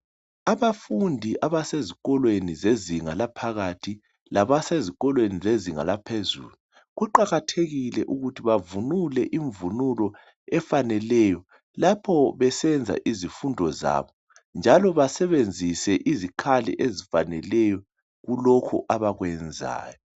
Abafundi abasezikolweni zezinga laphakathi labasezikolweni zezinga laphezulu, kuqakathekile ukuthi bavunule imvunulo efaneleyo lapho besenza izifundo zabo, njalo basebenzise izikhali ezifaneleyo kulokhu abakwenzayo.